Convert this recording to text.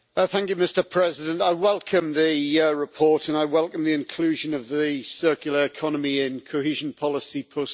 Mr President, I welcome the report and I welcome the inclusion of the circular economy in cohesion policy post